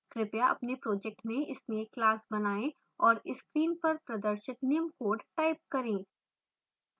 कृपया अपने project में snake class बनाएँ और screen पर प्रदर्शित निम्न code type करें